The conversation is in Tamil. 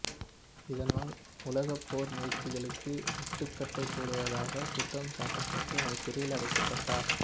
இதனால் உலகப் போர் முயற்சிகளுக்கு முட்டுக்கட்ட போடுவதாகக் குற்றம் சாட்டப்பட்டு அவர் சிறையிலடைக்கப்பட்டார்